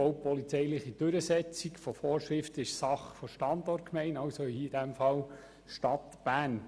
Die baupolizeiliche Durchsetzung von Vorschriften ist Sache der Standortgemeinde, in diesem Fall der Stadt Bern.